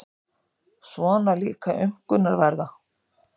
Svona líka aumkunarverða.